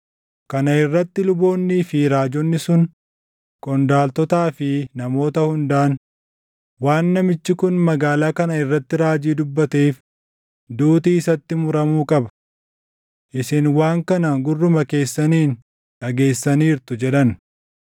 Kana irratti luboonnii fi raajonni sun qondaaltotaa fi namoota hundaan, “Waan namichi kun magaalaa kana irratti raajii dubbateef duuti isatti muramuu qaba. Isin waan kana gurruma keessaniin dhageessaniirtu!” jedhan.